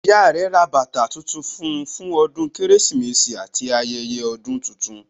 Ìyá rẹ ra bàtà tuntun fún un fún ọdún Kérésìmesì àti ayẹyẹ ọdún tuntun